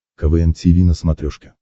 квн тиви на смотрешке